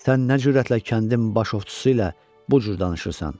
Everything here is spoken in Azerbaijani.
Sən nə cürətlə kəndin baş ovçusu ilə bu cür danışırsan?